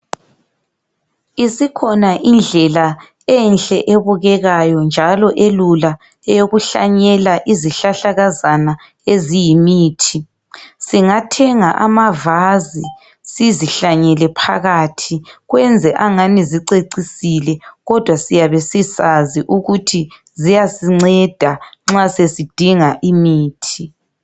Isikhona indlela enhle ebukekayo njalo elula eyokuhlanyela izihlahlakazana eziyimithi. Singathenga ama vase sizihlanyele phakathi kwenze angani zicecisile kodwa siyabe sisazi ukuthi ziyasinceda nxa sesindinga imithi.